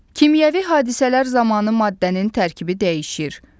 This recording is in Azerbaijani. Kimyəvi hadisələr zamanı maddənin tərkibi dəyişir.